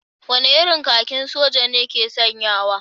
Wane irin kakin soja ne ke sanyawa?